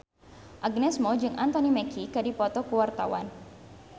Agnes Mo jeung Anthony Mackie keur dipoto ku wartawan